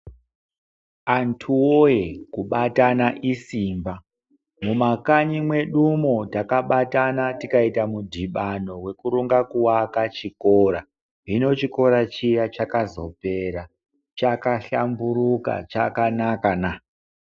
Antuwoye kubatana isimba. Mumakanyi mwedumwo takabatana tikaita mudhibano wekuronga kuwaka chikora. Hino chikora chiya chakazopera, chakahlamburuka chakanakana.